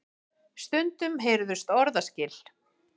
Stundum heyrðust orðaskil.